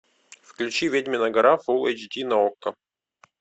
включи ведьмина гора фул эйч ди на окко